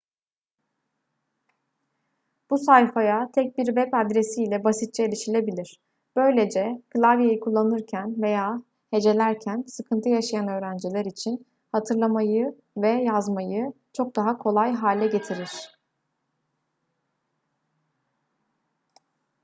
bu sayfaya tek bir web adresi ile basitçe erişilebilir böylece klavyeyi kullanırken veya hecelerken sıkıntı yaşayan öğrenciler için hatırlamayı ve yazmayı çok daha kolay hale getirir